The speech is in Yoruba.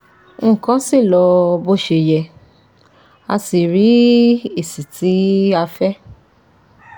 Nkan si lo bo se ye, a si ri esi ti a fe